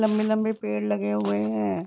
लंबे-लंबे पेड़ लगे हुए हैं।